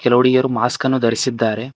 ಕೆಲವು ಹುಡುಗಿಯರು ಮಾಸ್ಕ್ ಅನ್ನು ಧರಿಸಿದ್ದಾರೆ.